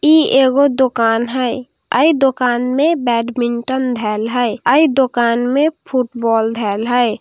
इ एगो दुकान हई आई दुकान में बेडमिन्त धैल हई आई दुकान में फुटबोल धैल हई |